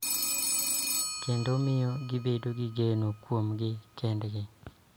Kendo miyo gibed gi geno kuomgi kende.